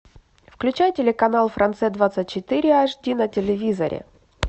включай телеканал франция двадцать четыре аш ди на телевизоре